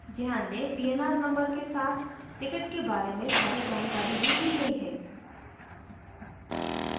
ध्यान दें pnr number के साथ ticket के बारे में सारी जानकारी भी दी गयी है